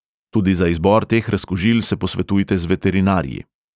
Tudi za izbor teh razkužil se posvetujte z veterinarji.